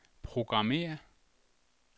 programmér